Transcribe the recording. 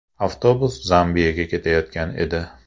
Avtobus Zambiyaga ketayotgan edi.